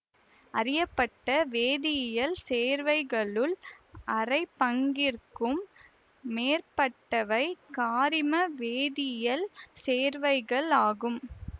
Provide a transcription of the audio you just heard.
அறியப்பட்ட வேதியியல் சேர்வைகளுள் அரைப்பங்கிற்கும் மேற்பட்டவை காரிமவேதியியல் சேர்வைகள் ஆகும்